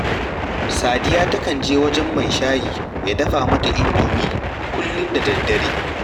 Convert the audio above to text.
Sadiya takan je wajen mai shayi ya dafa mata indomi kullum da daddare